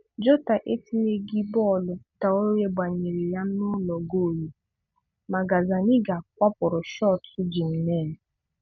Jota etinyeghị bọọlụ Traore gbanyere ya n'ụlọ goolu, ma Gazzaniga kwapụrụ shọtụ Jimenez